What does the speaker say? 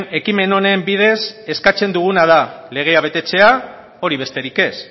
ekimen honen bidez eskatzen duguna da legea betetzea hori besterik ez